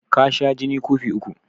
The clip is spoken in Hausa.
Ka sha jini kofi uku